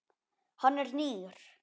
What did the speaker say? Hann er nýr.